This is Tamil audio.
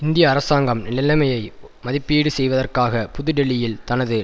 இந்திய அரசாங்கம் நிலைமையை மதிப்பீடு செய்வதற்காக புது டில்லியில் தனது